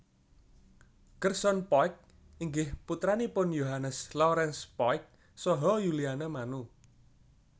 Gerson Poyk inggih putranipun Yohannes Laurens Poyk saha Yuliana Manu